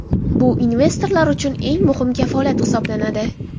Bu investorlar uchun eng muhim kafolat hisoblanadi.